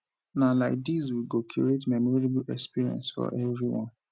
na like dis we go create a memorable experience for everyone